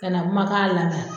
Ka nin kumakan lamɛn